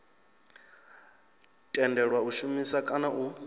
tendelwa u shumisa kana u